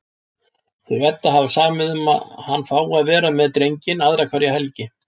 Þau Edda hafa samið um að hann fái að vera með drenginn aðra hverja helgi.